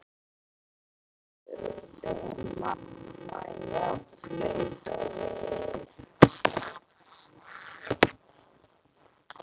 spurði mamman, jafn blaut og við.